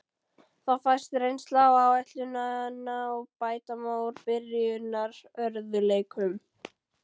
Þá fæst reynsla á áætlunina og bæta má úr byrjunarörðugleikum.